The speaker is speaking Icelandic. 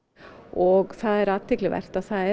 og það er athyglivert að það er